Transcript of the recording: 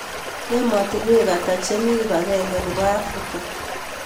Ematinwek ata chemi kipagenge nebo africa